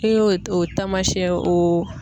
E y'o o tamasiyɛn o